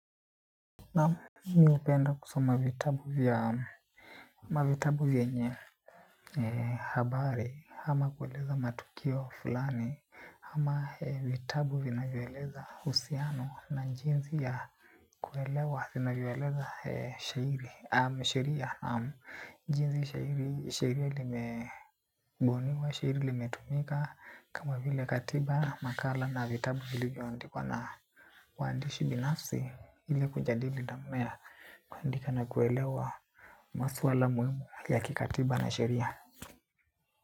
Naam, mi hupenda kusoma vitabu vyenye habari, ama kueleza matukio fulani, ama vitabu vinavyoeleza uhusiano na jinsi ya kuelewa, vinavyoeleza sheria, jinsi sheria limebuniwa, sheria limetumika, kama vile katiba, makala na vitabu vilivyoandikwa na waandishi binafsi, ili kujadili dhamana ya kuandika na kuelewa maswala muhimu ya kikatiba na sheria.